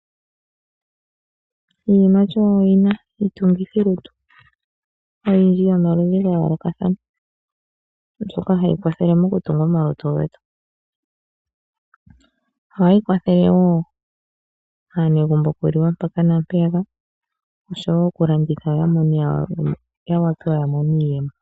Iiyimati oyina iitungithilutu oyindji ya yoolokathana mbyoka hayi kwathele mokutunga omalutu getu. Ohayi kwathele wo aanegumbo okuliwa mpaka nampeyaka, oshowo okulanditha ya wape ya mone iiyemo.